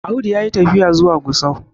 Audu ya yi tafiya zuwa Gusau